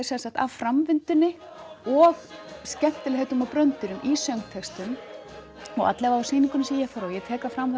framvindunni og skemmtilegheitum og bröndurum í söngtextum og alla vega á sýningunni sem ég fór á ég tek það fram